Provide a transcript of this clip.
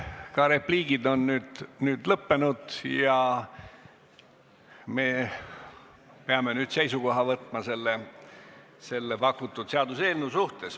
Ka repliigid on nüüd öeldud ja me peame selle pakutud seaduseelnõu suhtes seisukoha võtma.